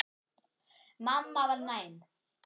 Mamma var næm.